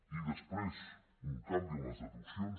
i després un canvi en les deduccions